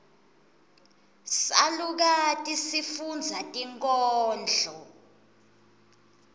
salukati sifundza tinkhondlo